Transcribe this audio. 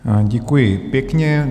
Děkuji pěkně.